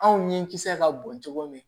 Anw ɲɛ kisɛ ka bon cogo min